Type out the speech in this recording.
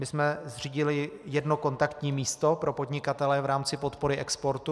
My jsme zřídili jedno kontaktní místo pro podnikatele v rámci podpory exportu.